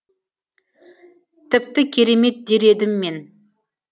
тіпті керемет дер едім мен